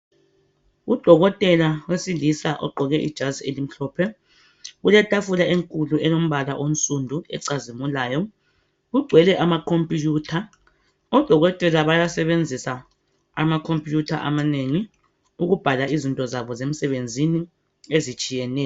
Udokotela owesilisa ogqoke ijazi elimhlophe kuletafuka enkulu elompala omsundu acazimulayo. Kugcwele ama khombutha odokotela bayawasebenzisa amakhomputha amanengi ukubhala izinto zabo ezinengi ezitshiyeneyo.